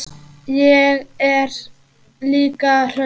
Ég er líka hraust.